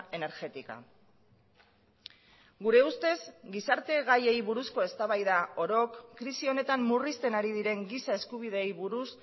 energética gure ustez gizarte gaiei buruzko eztabaida orok krisi honetan murrizten ari diren giza eskubideei buruz